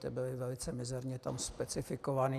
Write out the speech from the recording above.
Ty byly velice mizerně tam specifikované.